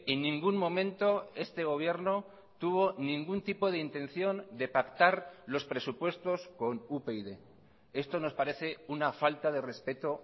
en ningún momento este gobierno tuvo ningún tipo de intención de pactar los presupuestos con upyd esto nos parece una falta de respeto